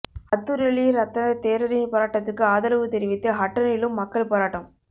அத்துரலிய ரத்தன தேரரின் போராட்டத்துக்கு ஆதரவு தெரிவித்து ஹட்டனிலும் மக்கள் போராட்டம்